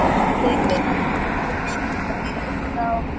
Þeir virðast vera með beint flug frá